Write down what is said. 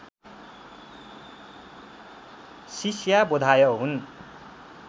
शिष्याबोधाय हुन्